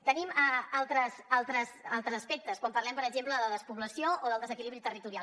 tenim altres aspectes quan parlem per exemple de despoblació o del desequilibri territorial